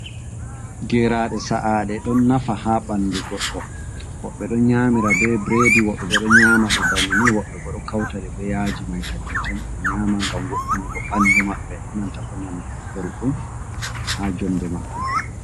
Geraɗe sa'aɗe ɗon nafa ha ɓandu goɗɗo, woɓɓe ɗon nyamira be biredi, woɓɓe bo ɗo nyama ɗe banna ni, woɓɓe bo ɗo kauta ɗe beyaji maikadin tan ɓe nyama, ngam wounugo ɓandu maɓɓe, enanta bonan kupelɗum ha jonde maɓɓe.